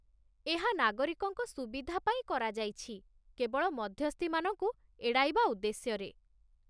ଏହା ନାଗରିକଙ୍କ ସୁବିଧା ପାଇଁ କରାଯାଇଛି, କେବଳ ମଧ୍ୟସ୍ଥିମାନଙ୍କୁ ଏଡ଼ାଇବା ଉଦ୍ଦେଶ୍ୟରେ।